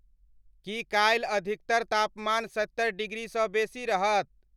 की काल्हि अधिकतर तापमान सत्तरि डिग्री सँ बेसी रहत?